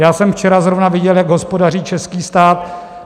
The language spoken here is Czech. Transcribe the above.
Já jsem včera zrovna viděl, jak hospodaří český stát.